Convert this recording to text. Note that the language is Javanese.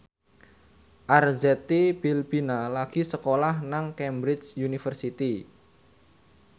Arzetti Bilbina lagi sekolah nang Cambridge University